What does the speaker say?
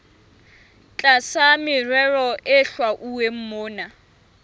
tlasa merero e hlwauweng mona